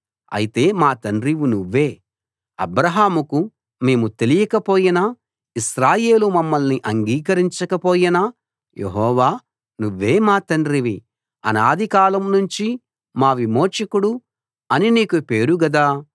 అయితే మా తండ్రివి నువ్వే అబ్రాహాముకు మేము తెలియక పోయినా ఇశ్రాయేలు మమ్మల్ని అంగీకరించకపోయినా యెహోవా నువ్వే మా తండ్రివి అనాదికాలం నుంచి మా విమోచకుడు అని నీకు పేరు గదా